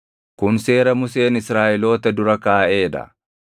Kun Seera Museen Israaʼeloota dura kaaʼee dha.